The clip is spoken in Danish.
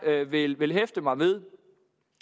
vil vil hæfte mig ved